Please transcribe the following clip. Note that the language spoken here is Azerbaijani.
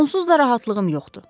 Onsuz da rahatlığım yoxdur.